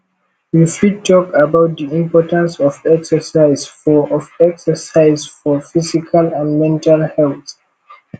you fit talk about di importance of exercise for of exercise for physical and mental health